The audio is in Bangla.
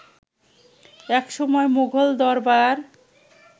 একসময় মুঘল দরবার